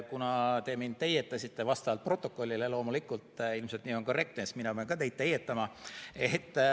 Kuna te mind vastavalt protokollile teietasite – loomulikult, ilmselt nii on korrektne –, siis mina pean ka teid teietama.